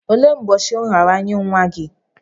Olee ụbọchị nraranye nwa gị?